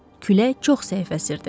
Külək çox zəif əsirdi.